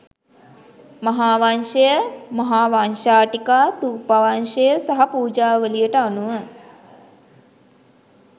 මහාවංශය, මහාවංශටීකා, ථූපවංශය සහ පූජාවලියට අනුව